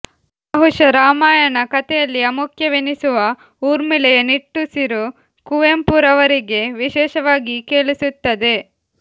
ಬಹುಶಃ ರಾಮಾಯಣ ಕಥೆಯಲ್ಲಿ ಅಮುಖ್ಯವೆನಿಸುವ ಊರ್ಮಿಳೆಯ ನಿಟ್ಟುಸಿರು ಕುವೆಂಪುರವರಿಗೆ ವಿಶೇಷವಾಗಿ ಕೇಳಿಸುತ್ತದೆ